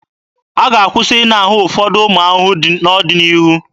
A ga-akwụsị ịna ahụ ụfọdụ ụmụ ahụhụ n'ọdịnihu.